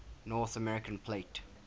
north american plate